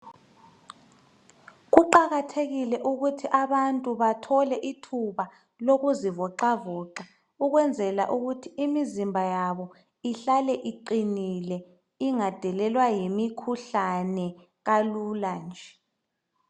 Kuqakathekile ukuthi abantu bathole ithuba lokuzivoxavoxa ukwenzela ukuthi imizimba yabo ihlale iqinile ingadelelwa yimikhuhlane kalula nje.